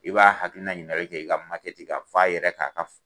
I b'a hakiliina ɲininkali kɛ i ka ka f'a yɛrɛ ka ka